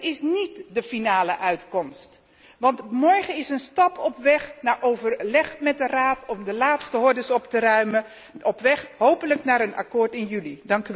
Het is niet de einduitslag, want morgen is een stap op weg naar overleg met de Raad om de laatste hordes op te ruimen op weg hopelijk naar een akkoord in juli.